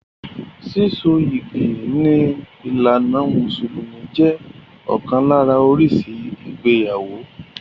Síso yìgì ní ìlànà mùsùlùmí jẹ́ ọ̀kan lára oríṣi ìgbéyàwó.